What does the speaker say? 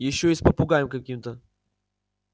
ещё и с попугаем каким-то